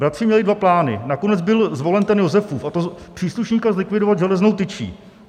Bratři měli dva plány, nakonec byl zvolen ten Josefův, a to příslušníka zlikvidovat železnou tyčí.